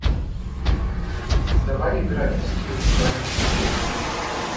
давай играть в скил хранитель слов